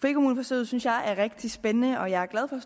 frikommuneforsøget synes jeg er rigtig spændende og jeg er glad for